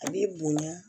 A b'i bonya